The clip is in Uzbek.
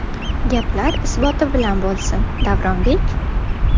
Gaplar isboti bilan bo‘lsin, Davronbek.